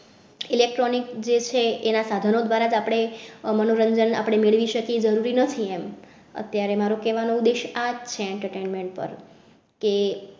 Electronic જે છે એના સાધનો દ્વારા જ આપણે મનોરંજન આપણે મેળવી શકે જરૂરી નથી એમ અત્યારે મારો કહેવા નો ઉદ્દેશ આ છે entertainment પર કે